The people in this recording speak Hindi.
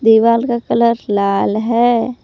दीवाल का कलर लाल है।